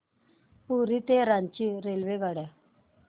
पुरी ते रांची रेल्वेगाड्या